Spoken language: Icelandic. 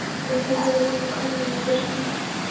Jeppinn hafði komið kunnuglega fyrir sjónir.